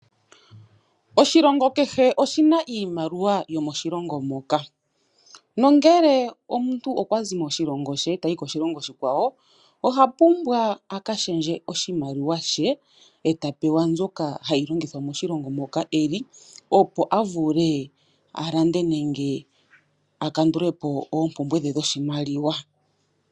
Oshilongo kehe oshina iimaliwa yomo shilongo moka. Nongele omuntu okwazi mo shilongi she tayi koshilongo oshikwawo , ohapumbwa aka shendje oshimaliwa she eta pewa mbyoka hayi longithwa moshilongo moka eli, opo avule alande nenge akandulepo oopumbwe dhe dho shimaliwa.